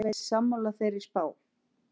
Er Bergsveinn sammála þeirri spá?